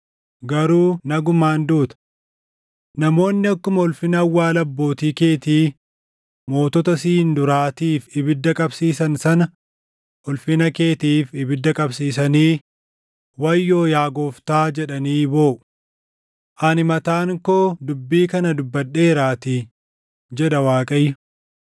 garuu nagumaan duuta. Namoonni akkuma ulfina awwaala abbootii keetii mootota siin duraatiif ibidda qabsiisan sana ulfina keetiif ibidda qabsiisanii, “Wayyoo yaa Gooftaa!” jedhanii booʼu. Ani mataan koo dubbii kana dubbadheeraatii, jedha Waaqayyo.’ ”